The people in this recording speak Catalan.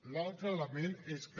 l’altre element és que